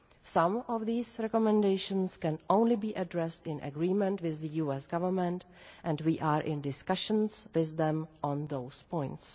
Some of these recommendations can only be addressed in agreement with the US Government, and we are in discussions with them on those points.